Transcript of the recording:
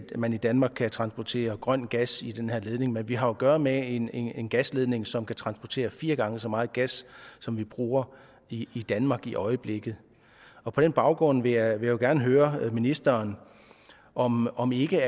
man i danmark kan transportere grøn gas i den her ledning men vi har jo at gøre med en en gasledning som kan transportere fire gange så meget gas som vi bruger i danmark i øjeblikket og på den baggrund vil jeg gerne høre ministeren om om ikke